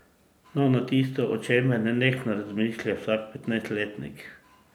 No, na tisto, o čemer nenehno razmišlja vsak petnajstletnik.